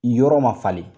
Yɔrɔ ma falen